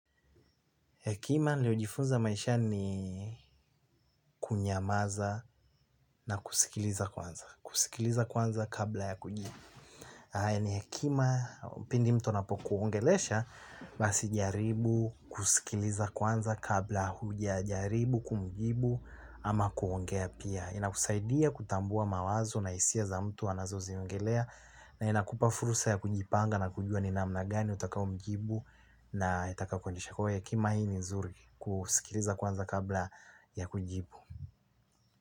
Hekima nimejifunza maishani ni, kunyamaza na kusikiliza kwanza kabla ya kujibu. Haya ni hekima. Pindi mtu anapokuongelesha basi jaribu kusikiliza kwanza kabla huja jaribu, kumjibu ama kuongea pia. Inakusaidia kutambua mawazo na hisia za mtu anazoziongelea na inakupa fursa ya kujipanga na kujua ni namna gani utakao mjibu na itaka kujibu. Kwa hiyo hekima hii ni nzuri kusikiliza kwanza kabla ya kujibu.